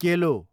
केलो